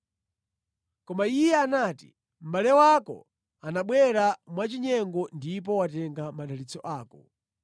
Koma iye anati, “Mʼbale wako anabwera mwachinyengo ndipo watenga madalitso ako.”